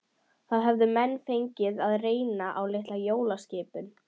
Það höfðu menn fengið að reyna á litla kolaskipinu